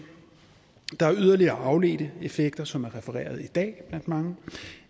der er yderligere afledte effekter som er refereret i dag blandt mange